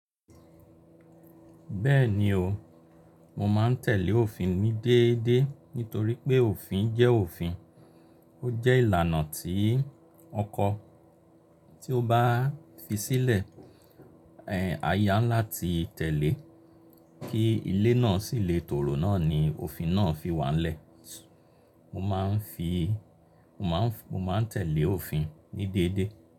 Bẹ́ẹ̀ni o, mo máa ń tẹ̀lé òfin ní déédéé nítorí pé òfin jẹ́ òfin. Ó jẹ́ ìlànà tí ọkọ tí ó bá fi sílẹ̀, eh aya ńlá ti tẹ̀lé kí ilé náà sì le tòrò náà ni òfin náà fi wà lẹ́. Mo máa ń fi, mo máa ń, mo máa ń tẹ̀lé òfin ní déédéé.